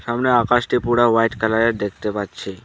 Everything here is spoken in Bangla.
সামনের আকাশটি পুরা হোয়াইট কালারের দেখতে পাচ্ছি।